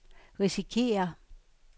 risikerer